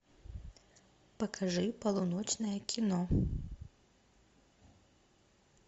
покажи полуночное кино